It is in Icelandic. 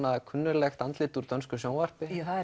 kunnuglegt andlit úr dönsku sjónvarpi það